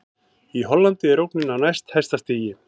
Í Hollandi er ógnin á næst hæsta stigi.